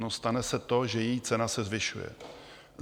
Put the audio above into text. No stane se to, že její cena se zvyšuje.